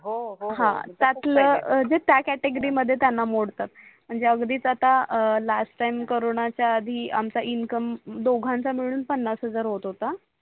म्हणजे अगदीच आता लास्ट टाइम करोंनाच्या आधी आमच्या इन्कम दोघांचा मिडून पन्नस हजार होत होता